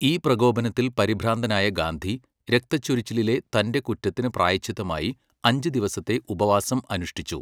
ഈ പ്രകോപനത്തിൽ പരിഭ്രാന്തനായ ഗാന്ധി രക്തച്ചൊരിച്ചിലിലെ തന്റെ കുറ്റത്തിന് പ്രായശ്ചിത്തമായി അഞ്ച് ദിവസത്തെ ഉപവാസം അനുഷ്ഠിച്ചു.